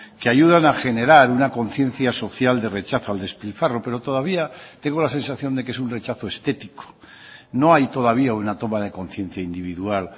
que ayudan a generar una conciencia social de rechazo al despilfarro pero todavía tengo la sensación de que es un rechazo estético no hay todavía una toma de conciencia individual